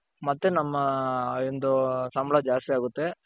ಮತ್ತೆ ನಮ್ಮ ಒಂದು ಸಂಬಳ ಜಾಸ್ತಿ ಆಗುತ್ತೆ .